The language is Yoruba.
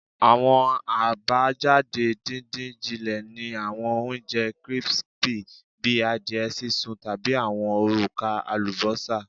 Awọn abajade didin-jinle ni awọn ounjẹ crispy bi adiẹ sisun tabi awọn oruka alubosa